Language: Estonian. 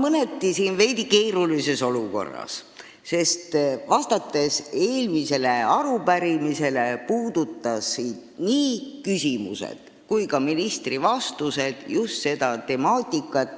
Ma olen siin mõneti keerulises olukorras, sest eelmise arupärimise küsimused ja ka ministri vastused puudutasid seda temaatikat,